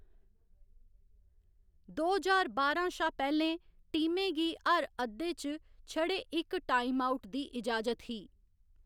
दो ज्हार बारां शा पैह्‌लें, टीमें गी हर अद्धे च छड़े इक टाइमआउट दी इजाजत ही।